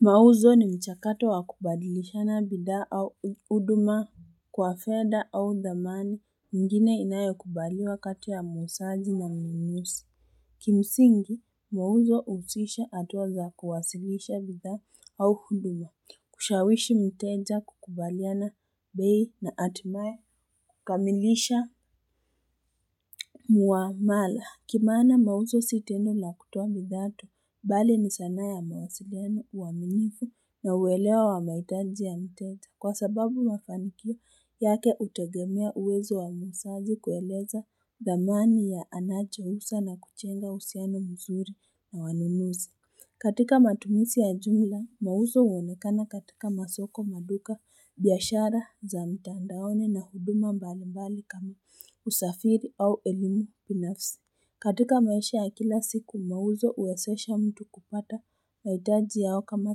Mauzo ni mchakato wa kubadilishana bidhaa au uduma kwa fedha au dhamani ingine inayokubaliwa kati ya muusaji na mnunusi Kimsingi mauzo uusisha atuwa za kuwasilisha bidhaa au huduma kushawishi mteja kukubaliana bei na atimae kamilisha Mwamala, kimana mauzo si tendo la kutoa bidhaa tu, bali ni sana ya mawasiliano uaminifu na uwelewa wa maitaji ya mteja kwa sababu mafanikio yake utegemea uwezo wa muusaji kueleza dhamani ya anacho usa na kuchenga husiano mzuri na wanunuzi. Katika matumisi ya jumla mauzo uonekana katika masoko maduka biashara za mtandaoni na huduma mbali mbali kama usafiri au elimu pinafsi katika maisha ya kila siku mauzo uwesesha mtu kupata maitaji yao kama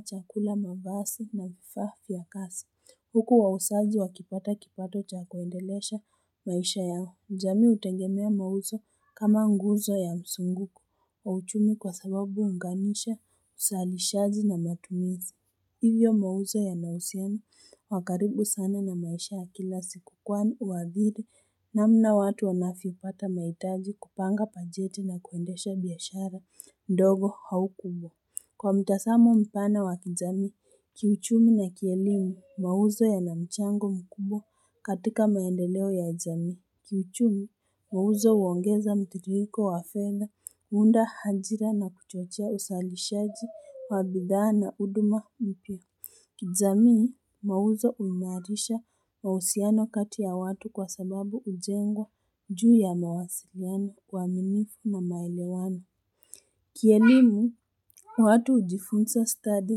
chakula mavasi na vifaa vya kasi Huku wausaji wakipata kipato cha kuendelesha maisha yao jamii hutengemea mauzo kama nguzo ya msunguku wa uchumi kwa sababu uunganisha usalishazi na matumizi Hivyo mauzo yanausiana wa karibu sana na maisha ya kila siku kwani uadhiri namna watu wanafipata maitaji kupanga pajeti na kuendesha biashara ndogo hau kubwa Kwa mtasamo mpana wa kijamii, kiuchumi na kielimu, mauzo yana mchango mkubwa katika maendeleo ya jami. Kiuchumi, mauzo uongeza mtiriko wa fedha, huunda hajira na kuchochea usalishaji wa bidhaa na uduma mpya. Kijamii, mauzo uimarisha mahusiano kati ya watu kwa sababu ujengwa juu ya mawasiriano uaminifu na maelewano. Kielimu, watu ujifunsa stadi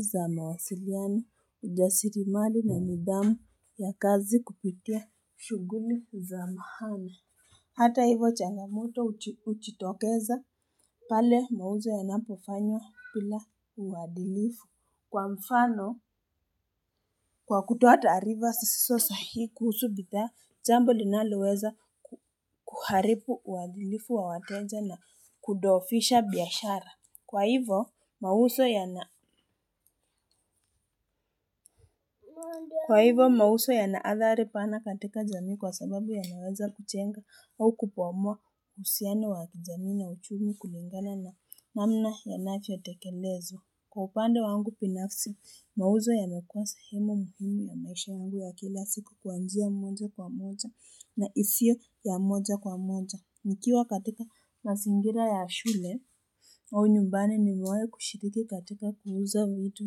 za mawasiliano ujasirimali na nidhamu ya kazi kupitia shuguli za mahana. Hata hivo changamoto uchitokeza pale mauzo yanapofanywa bila uwadilifu. Kwa mfano, kwa kutoa taariva sisiso sahihi kuhusu bidhaa, jambo linaloweza kuharipu uwadilifu wa wateja na kudofisha biashara. Kwa hivyo, mauso yanaadhari pana katika jamii kwa sababu yanaweza kuchenga au kupomoa husiano wa kijamii na uchumi kulingana na namna yanavyo tekelezo. Kwa upande wangu pinafsi, mauzo yamekua sehemu muhimu ya maisha yangu ya kila siku kwa njia moja kwa moja na isio ya moja kwa moja. Nikiwa katika mazingira ya shule au nyumbani nimewai kushiriki katika kuuza vitu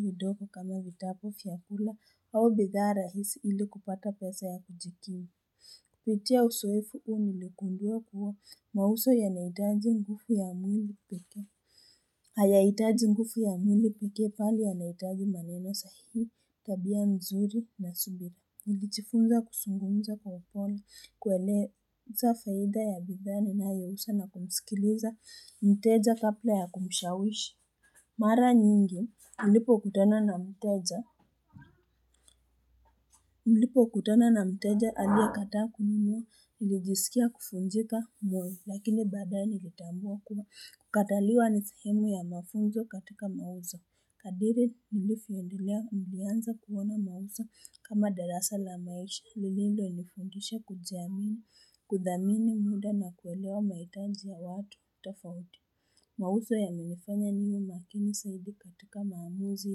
vidogo kama vitabu fiakula au bidhaa rahisi ili kupata pesa ya kujikimi. Kuitia usoefu u nilikundua kuwa mauso Hayaitaji ngufu ya mwili pekee pali yanaitaji maneno sahihi, tabia nzuri na subi. Nilichifunza kusungumza kwa upole, kueleza faida ya bidhaa ninayousa na kumsikiliza, mteja kapla ya kumshawishi. Mara nyingi, mlipokutana na mteja aliekataa kununua, nilijiskia kufunjika moyo, lakini baadae nilitambua kuwa. Kukataliwa ni sehemu ya mafunzo katika mauzo. Kadiri nilifyoendelea nilianza kuona mauso kama darasa la maisha lililo nifundisha kujiamini kudhamini muda na kuelewa maitanji ya watu tofauti Mawuso yamenifanya niwe makini saidi katika maamuzi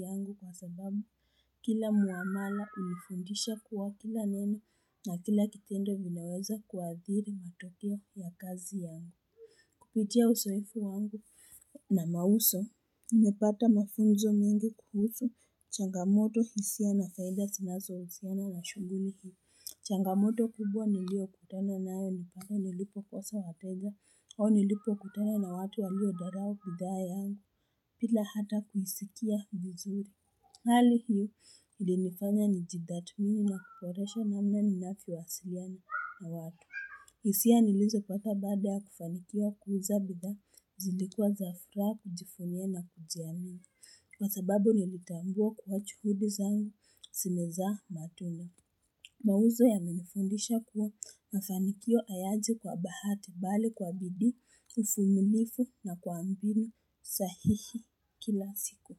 yangu kwa sababu kila muamala ulifundisha kuwa kila neno na kila kikendo vinaweza kuadhiri matokeo ya kazi yangu Kupitia usoefu wangu na mauso, nimepata mafunzo mingi kuhusu changamoto hisia na faida sinazo husiana na shuguli hii. Changamoto kubwa niliokutana nayo ni pale nilipokosa wateja, au nilipokutana na watu waliyodharao bidhaa yangu, pila hata kuisikia vizuri. Hali hii ilinifanya nijidhatmini na kuporesha namna ninafyowasiliana na watu. Isia nilizopata baada ya kufanikiwa kuuza bidhaa, zilikuwa za furaha kujifunia na kujiamini, kwa sababu nilitambua kuwa chuhudi zangu, simezaa matunda. Mauzo yamenifundisha kuwa mafanikio ayaji kwa bahati, bali kwa bidii, ufumilifu na kwa mbinu sahihi kila siku.